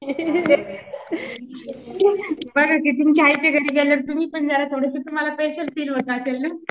बघाकि तुमच्या आईच्या घरी